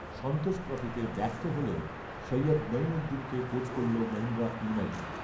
সন্তোষ ট্রফিতে ব্যর্থ হলেও সৈয়দ নঈমুদ্দিনকে কোচ করল মহীন্দ্রা ইউনাইটেড